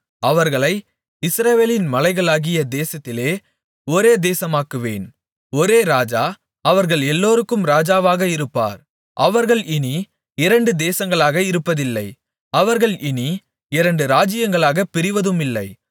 அவர்களை இஸ்ரவேலின் மலைகளாகிய தேசத்திலே ஒரே தேசமாக்குவேன் ஒரே ராஜா அவர்கள் எல்லோருக்கும் ராஜாவாக இருப்பார் அவர்கள் இனி இரண்டு தேசங்களாக இருப்பதில்லை அவர்கள் இனி இரண்டு ராஜ்ஜியங்களாகப் பிரிவதுமில்லை